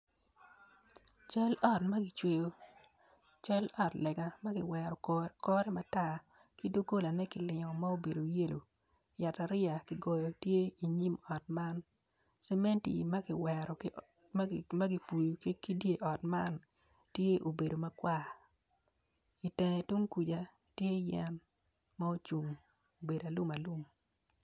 Cal ot magicweto cal ot lega magiwero kore matar ki dogola ne kilingo ma obedo yellow yat ariya kigoya tye i nyim ot man vementi magipuyo ki di ot man tye obeod makwar itenge tung kuca tye yen ma ocung obedo alum alum.